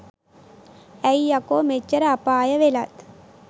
ඇයි යකෝ මෙච්චර අපාය වෙලත්